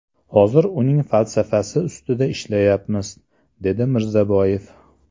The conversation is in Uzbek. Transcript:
Hozir uning falsafasi ostida ishlayapmiz”, dedi Mirzaboyev.